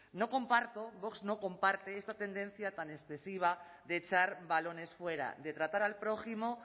no comparto vox no comparte esta tendencia tan excesiva de echar balones fuera de tratar al prójimo